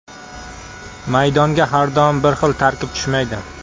Maydonga har doim bir xil tarkib tushmaydi”.